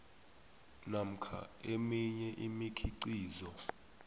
namkha eminye imikhiqizo